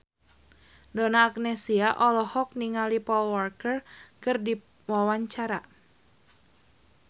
Donna Agnesia olohok ningali Paul Walker keur diwawancara